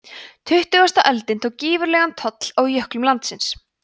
tuttugasta öldin tók gífurlegan toll af jöklum landsins